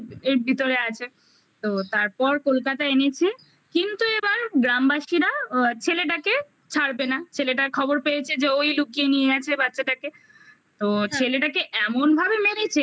ভিতরে আছে তো তারপর কলকাতায় এনেছে কিন্তু এবার গ্রামবাসীরা ছেলেটাকে ছাড়বে না ছেলেটার খবর পেয়েছে যে ওই লুকিয়ে নিয়ে গেছে বাচ্চাটাকে তো হ্যাঁ ছেলেটাকে এমন ভাবে মেরেছে